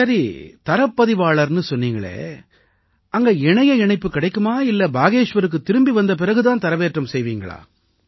சரி தரவுப் பதிவாளர்னு சொன்னீங்களே அங்க இணைய இணைப்பு கிடைக்குமா இல்லை பாகேஷ்வருக்குத் திரும்பி வந்த பிறகு தான் தரவேற்றம் செய்வீங்களா